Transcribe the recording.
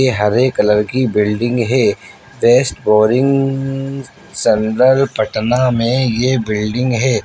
ये हरे कलर की बिल्डिंग है बेस्ट बोरिंग सनरल पटना में ये बिल्डिंग है।